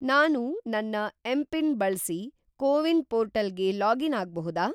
ನಾನು ನನ್ನ ಎಂಪಿನ್‌ ಬಳ್ಸಿ ಕೋವಿನ್‌ ಪೋರ್ಟಲ್‌ಗೆ ಲಾಗಿನ್‌ ಆಗ್ಬಹುದಾ?